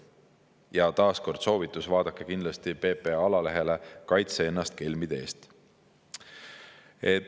Ja taas soovitus: vaadake kindlasti PPA alalehele "Kaitse ennast kelmide eest".